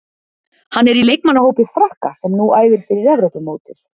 Hann er í leikmannahópi Frakka sem nú æfir fyrir Evrópumótið.